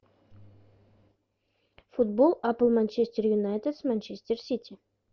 футбол апл манчестер юнайтед с манчестер сити